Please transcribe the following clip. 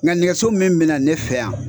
Nga nɛgɛso min be na ne fɛ yan